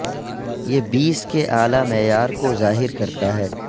یہ بیس کے اعلی معیار کو ظاہر کرتا ہے